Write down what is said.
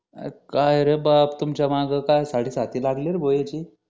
अरे काय रे बाप तुमच्या माग काय साडेसाती लागली रे भो याची